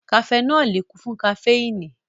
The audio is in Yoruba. Kafẹnọli kún fún kaféìnì